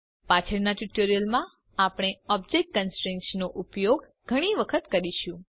પાછળના ટ્યુટોરિયલ્સમાં આપણે ઓબ્જેક્ટ કન્સ્ટ્રેઇન્ટ્સ નો ઉપયોગ ઘણી વખત કરીશું